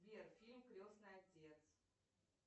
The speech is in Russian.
сбер фильм крестный отец